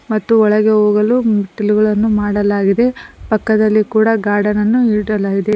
ಮತ್ತು ಒಳಗೆ ಹೋಗಲು ಮೆಟ್ಟಿಲುಗಳನ್ನು ಮಾಡಲಾಗಿದೆ ಪಕ್ಕದಲ್ಲಿ ಕೂಡ ಗಾರ್ಡನ್ನನು ಇಡಲಾಗಿದೆ.